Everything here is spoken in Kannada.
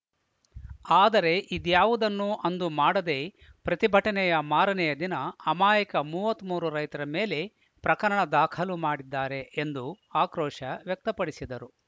ಆದರೆ ಇದ್ಯಾವುದನ್ನು ಅಂದು ಮಾಡದೆ ಪ್ರತಿಭಟನೆಯ ಮಾರನೆಯ ದಿನ ಅಮಾಯಕ ಮೂವತ್ತ್ ಮೂರು ರೈತರ ಮೇಲೆ ಪ್ರಕರಣ ದಾಖಲು ಮಾಡಿದ್ದಾರೆ ಎಂದು ಆಕ್ರೋಶ ವ್ಯಕ್ತಪಡಿಸಿದರು